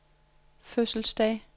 fødselsdag